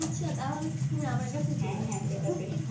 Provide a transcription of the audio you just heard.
আচ্ছা তাহলে তুমি আমার কাছে আসতে পারো,